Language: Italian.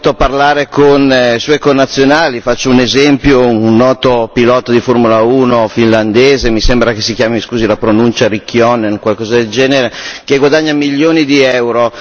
lui è abituato a parlare con suoi connazionali, faccio un esempio, un noto pilota di Formula uno finlandese, mi pare che si chiami scusi la pronuncia Raikkonen o qualcosa del genere, che guadagna milioni di euro.